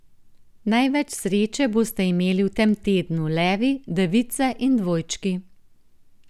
Največ sreče boste imeli v tem tednu levi, device in dvojčki.